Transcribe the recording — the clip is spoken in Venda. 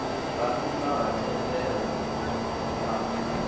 nga nnda ha thendelo a